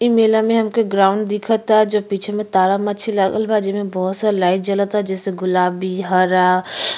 इ मेला में हमके ग्राउंड दिखता जो पीछे में तारामछी लागल बा जेमे बहोत सा लाइट जलता। जैसे गुलाबी हरा --